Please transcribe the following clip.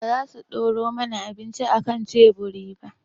Ba za su ɗora mana abinci a kan tebur ba?